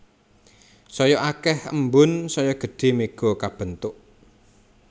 Saya akéh embun saya gedhé méga kabentuk